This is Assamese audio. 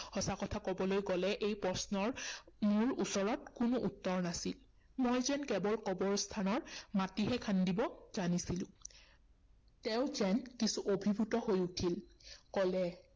সঁচা কথা কবলৈ গলে এই প্ৰশ্নৰ মোৰ ওচৰত কোনো উত্তৰ নাছিল। মই যেন কেৱল কবৰস্থানৰ মাটিহে খান্দিব জানিছিলো। তেওঁ যেন কিছু অভিভূত হৈ উঠিল।